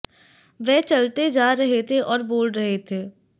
वे चलते जा रहे थे और बोल रहे थे